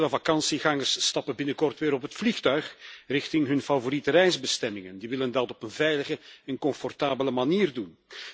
Vele vakantiegangers stappen binnenkort weer op het vliegtuig richting hun favoriete reisbestemming en die willen dat op een veilige en comfortabele manier doen.